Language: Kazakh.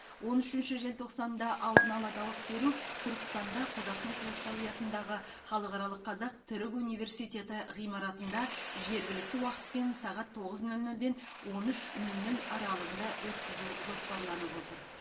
он үшінші желтоқсанда алдын ала дауыс беру түркістанда қожа ахмет ясауи атындағы халықаралық қазақ түрік университеті ғимаратында жергілікті уақытпен сағат тоғыз нөл нөлден он үш нөл нөл аралығында өткізу жоспарланып отыр